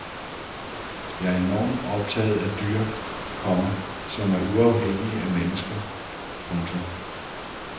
Jeg er enormt optaget af dyr, komma som er uafhængige af mennesker. punktum